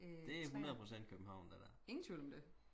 det er 100 procent københavn det der